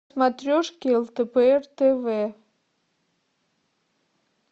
смотрешке лдпр тв